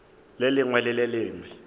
lengwe le le lengwe le